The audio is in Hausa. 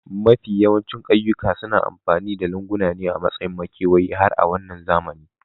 Mafiya yawancin ƙauyawa suna amfani da lunguna ne a matsayin makewayi har a wannan zamani